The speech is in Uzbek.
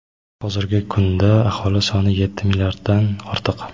hozirgi kunda aholi soni yetti milliarddan ortiq.